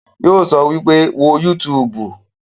Yóò sọ wípé, 'Wo yútuùbù'